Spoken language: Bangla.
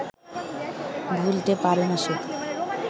ভুলতে পারে না সে